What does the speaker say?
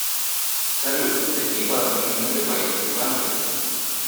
салют какие бабки нужны для поездки в англию